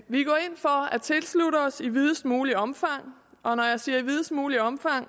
for at tilslutte os i videst muligt omfang og når jeg siger i videst muligt omfang